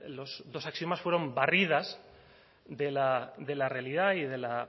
los dos axiomas fueron barridas de la realidad y de la